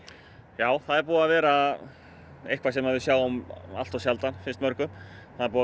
já það er búið að vera eitthvað sem við sjáum alltof sjaldan finnst mörgum það er búið